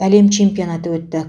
әлем чемпионаты өтті